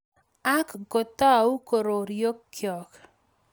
ak kotou kororokyo